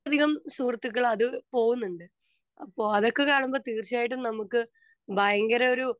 speaker 2 അധികം സുഹൃത്തുക്കൾ അത് പോകുന്നുണ്ട് അപ്പൊ അതൊക്കെ കാണുമ്പോൾ തീർച്ചയായിട്ട് നമുക്ക് ഭയങ്കര ഒരു